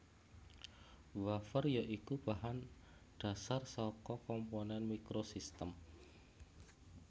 Wafer ya iku bahan dhasar saka komponen microsystem